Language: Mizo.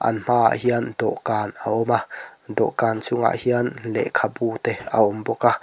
an hma ah hian dawhkan a awm a dawhkan chungah hian lehkhabu te a awm bawk a.